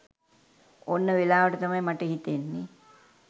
ඔන්න වෙලාවට තමයි මට හිතන්නේ